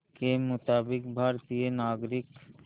के मुताबिक़ भारतीय नागरिक